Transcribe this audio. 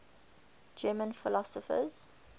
german philosophers